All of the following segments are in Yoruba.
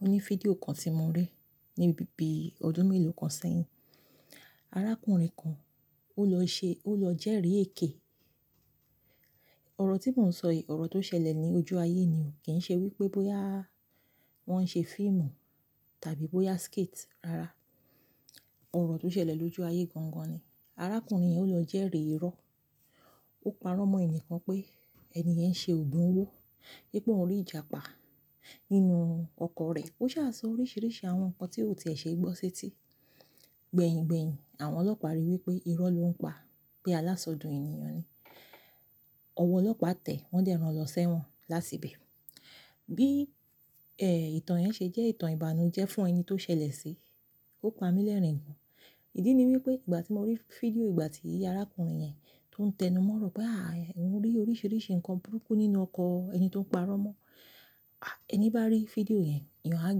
o ní fídíò kan tí mo rí ní ibi bí ọdún mélòó kan sẹ́yìn. Arákùnrin kan ó lọ ṣe-- ó lọ jẹ́rì èké. Ọ̀rọ̀ tí mò ń sọ yìí, ọ̀rọ̀ tó ṣẹlẹ̀ ní ojú ayé ni o, kì í ṣe wípé bóyá wọ́n ṣe fíìmù tàbí bóyá skit, rárá. Ọ̀rọ̀ tó ṣẹlẹ̀ lójú ayé gangan ni. Arákùnrin yẹn ó lọ jẹ́rì irọ́. Ó parọ́ mọ́ ènìyàn kan pé, "ẹni yẹn ṣe ògùn owó." Wípé òun rí ìjàpá nínú ọkọ̀ rẹ̀. Ó sá sọ oríṣìíríṣìí àwọn nǹkan tí ò ti è ṣe gbọ́ sí eti. Gbẹ̀yìn-gbẹ̀yìn àwọn ọlọ́pàá ríi wípé irọ́ ló ń pa, pé alásọdùn ènìyàn ni. Ọwọ́ ọlọ́pàá tẹ́, wọ́n dẹ̀ rán lọ sẹ́wọ́n latìbẹ̀. Bí, ẹ́, ìtàn yẹn ṣe jẹ́ ìtàn ìbànújẹ́ fún ẹni tó ṣẹlẹ̀ sí, ó pa mí lẹ́rìn-ín gan-an. Ìdí ni wípé ìgbà tí mo rí fídíò ìgbà tí arákùnrin yẹn tó ń tẹnu mọ́rọ̀ pé, "àáà, mo rí oríṣìíríṣìí nǹkan burúkú nínú ọkọ̀ ẹni tó ń parọ́ mọ́." À, ẹni bá rí fídíò yẹn, eeyàn á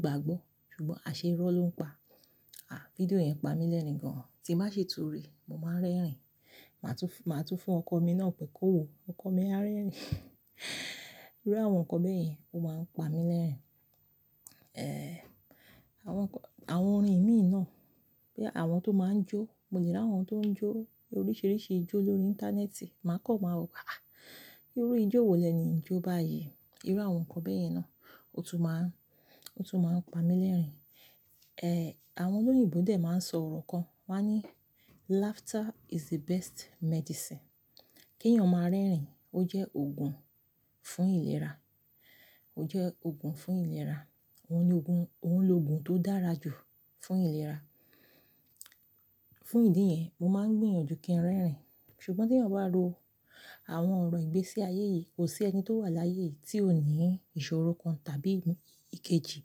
gbàgbọ́. Ṣùgbọ́n àṣẹ irọ́ ló ń pa. À, fídíò yẹn pa mí lẹ́rìn-ín gan-an. Tí n ba ṣi tùrí, mo máa ń rẹ́rìn-ín. Màá tún, màá tún fún ọkọ mi náà pé, "kó wo, ọkọ mi, á rẹ́rìn-ín." Irú àwọn nǹkan bẹ́ yẹn ó máa ń pa mí lẹ́rìn-ín. Ẹ́è, àwọn nǹkan-- àwọn orin mi náà, bí àwọn tó máa ń jó. Mo lè ráwọn tó ń jó oríṣìíríṣìí ijó lórí íńtánẹ́ẹ̀tì, màá kan màá wò pé, "àáà, irú ijó wo lẹ́ẹ̀ni yi ń jó báyìí?" Irú àwọn nǹkan bẹ́ẹ̀ yẹn náà ó tún máa ń, ó tún máa ń pa mí lẹ́rìn-ín. Ẹ́è, àwọn olóyìnbo dè máa ń sọ ọ̀rọ̀ kan, wọ́n á ní, "laughter is the best medicine." kí èèyàn máa rẹ́rìn-ín, ó jẹ́ òògùn fún ìlera. Ó jẹ́ òògùn fún ìlera. Wọ́n ní òògùn, òun lo òògùn tó dára jù fún ìlera. Fún ìdí yẹn, mo máa ń gbìyànjú kí n rẹ́rìn-ín. Ṣùgbọ́n tí èèyàn bá ro àwọn ọ̀rọ̀ ìgbésí ayé yìí, kò sí ẹni tó wà láyé èyí tí ò ní ìṣòro kan tàbí ikejì.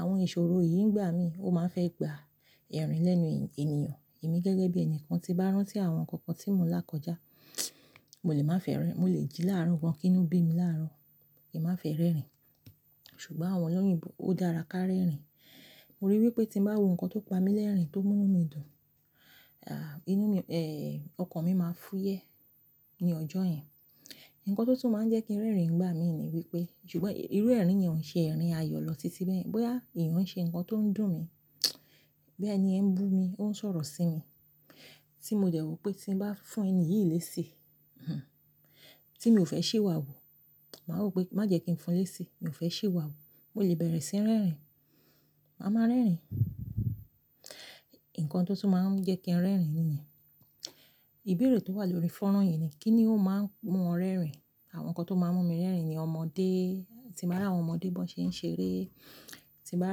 Àwọn ìṣòro yìí ń gbà mí, ó máa ń fẹ́ gba ẹ̀rín lẹ́nu ènìyàn. Èmi gẹ́gẹ́ bí ẹni kan tí bá rán tí àwọn nǹkan kan tí mò ń lákọjá, mo lè má fẹ́ rẹ́rìn-ín. Mo lè jí láàárọ̀ wọ́n kí inú bí mi láàárọ̀, kí n má fẹ́ rẹ́rìn-ín. Ṣùgbọ́n àwọn olóyìnbó ó dára ká rẹ́rìn-ín. Mo rí i wípé tí n bá wo nǹkan tó pa mí lẹ́rìn-ín, tó mú inú mi dùn, à, inú mi, ẹ́è, ọkàn mi máa fúyẹ́ ní ọjọ́ yẹn. Nǹkan tó tún máa ń jẹ́ kí n rẹ́rìn-ín gbà mí ni wípé, ṣùgbọ́n irú ẹ̀rín yẹn ò ń ṣe ẹ̀rín ayọ̀ lọ títí bẹ́ẹ̀. Bóyá èèyàn ń ṣe nǹkan tó ń dùn mí, bí ẹni yẹn ń bú mi, ó ń sọ̀rọ̀ sí mi tí mò dẹ̀ wọ̀ wípé tí n bá fún ẹni yìí léṣi, hùn, tí mi ò fẹ́ sì wà wò, màá mọ̀ wípé má jẹ́ kí n fún un léṣi, mi ò fẹ́ sì iwà wu. Mo lè bẹ̀rẹ̀ sí í rẹ́rìn-ín. Màá ma rẹ́rìn-ín. Nǹkan tó tún máa ń jẹ́ kí n rẹ́rìn-ín ni yẹn. Ìbéèrè tó wà lórí fónrán yìí ni, kí ni ó máa ń mú ọ rẹ́rìn-ín? Àwọn nǹkan tó máa ń mú mi rẹ́rìn-ín ni ọmọdé. Tí màá bá àwọn ọmọdé bó ṣe ń ṣeré, tí màá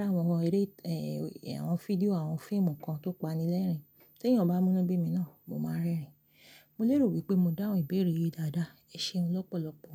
bá àwọn eré, ẹ́è, àwọn fídíò àwọn fíìmù kan tó pa ni lẹ́rìn-ín. Tí èèyàn bá ń mú inú bí mi náà, mo máa ń rẹ́rìn-ín. Mo lérò wípé mo dáhùn ìbéèrè yìí dáadáa. Ẹ ṣeun lọ́pọ̀lọpọ̀.